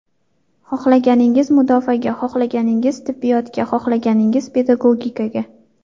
Xohlaganingiz mudofaaga, xohlaganingiz tibbiyotga, xohlaganingiz pedagogikaga.